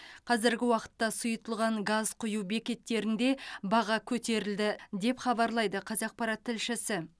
қазіргі уақытта сұйытылған газ құю бекеттерінде баға көтерілді деп хабарлайды қазақпарат тілшісі